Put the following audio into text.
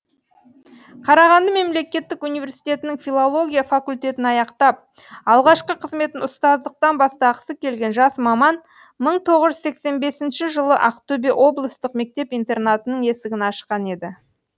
қарағанды мемлекеттік университетінің филология факультетін аяқтап алғашқы қызметін ұстаздықтан бастағысы келген жас маман мың тоғыз жүз сексен бесінші жылы ақтөбе облыстық мектеп интернатының есігін ашқан еді